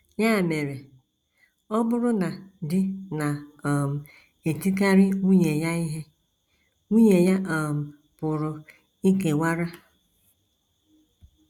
Ya mere, ọ bụrụ na di na - um etikarị nwunye ya ihe, nwunye ya um pụrụ ikewara.